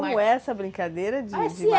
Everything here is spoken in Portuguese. Como é essa brincadeira de de